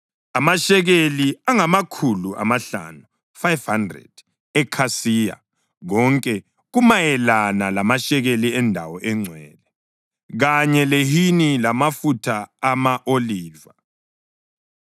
amashekeli angamakhulu amahlanu (500) ekhasiya, konke kumayelana lamashekeli endawo engcwele, kanye lehini lamafutha ama-oliva.